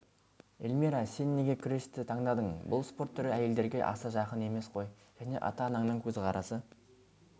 эльмира сен неге күресті таңдадың бұл спорт түрі әйелдерге аса жақын емес қой және ата-анаңның көзқарасы